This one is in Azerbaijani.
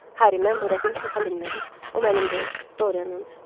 Hə, mən bu rəsmi sata bilmərəm, o mənim deyil, Dorianındır.